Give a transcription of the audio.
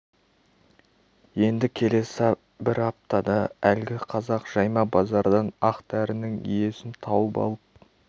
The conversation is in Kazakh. енді келесі бір аптада әлгі қазақ жайма базардан ақ дәрінің иесін тауып алып